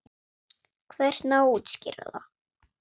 Hvernig á að útskýra það?